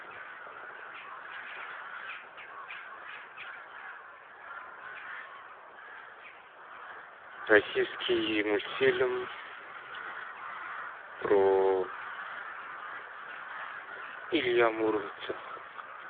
российский мультфильм про илья муромца